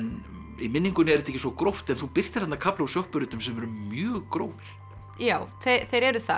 í minningunni er þetta ekki svo gróft en þú birtir þarna kafla úr sem eru mjög grófir já þeir eru það